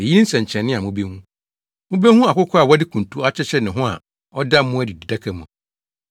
Eyi ne nsɛnkyerɛnne a mubehu. Mubehu akokoaa a wɔde kuntu akyekyere ne ho a ɔda mmoa adididaka mu.”